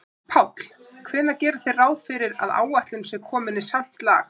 Páll: Hvenær gerið þið ráð fyrir að áætlun sé komin í samt lag?